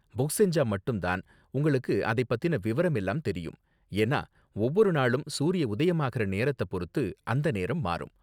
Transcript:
Book செஞ்சா மட்டும் தான் உங்களுக்கு அதப் பத்தின விவரம் எல்லாம் தெரியும், ஏன்னா ஒவ்வொரு நாளும் சூரிய உதயமாகுற நேரத்த பொறுத்து அந்த நேரம் மாறும்.